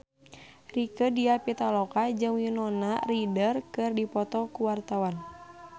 Rieke Diah Pitaloka jeung Winona Ryder keur dipoto ku wartawan